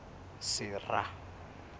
sera